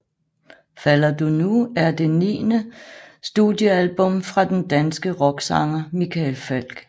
Falder du nu er det niende studiealbum fra den danske rocksanger Michael Falch